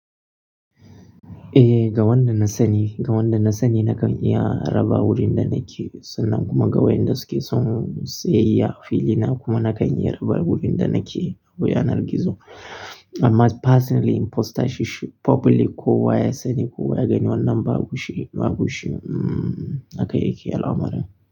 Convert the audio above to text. Eh, ga wanda na sani, ga wanda na sani na kan iya raba wurin da nake, sannan kuma ga wayanda suke son sayayya fili na, kuma na kan iya raba wurin da nake. Ta yanar gizo. Amma personally in postor shi public kowa ya sani ko wa ya gani wannan babu shi, babu shi. Haka yake al'amari.